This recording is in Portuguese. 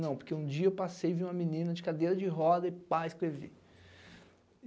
Não, porque um dia eu passei e vi uma menina de cadeira de roda e pá, escrevi.